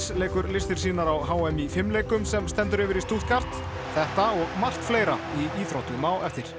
leikur listir sínar á h m í fimleikum sem stendur yfir í Stuttgart þetta og margt fleira í íþróttum á eftir